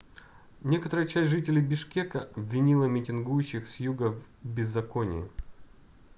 некоторая часть жителей бишкека обвинила митингующих с юга в беззаконии